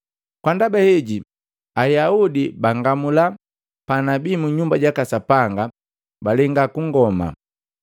Kwa ndaba heji, Ayaudi bangamula panabi mu Nyumba jaka Sapanga, balenga kungoma.